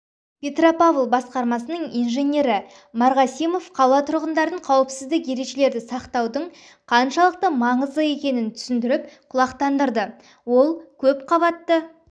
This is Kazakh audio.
петропавл басқармасының инженері марғасимов қала тұрғындарын қауіпсіздік ережелерді сақтаудың қаншалықты маңызды екенін түсіндіріп құлақтандырды ол көпқабатты